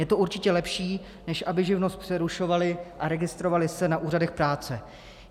Je to určitě lepší, než aby živnost přerušovali a registrovali se na úřadech práce.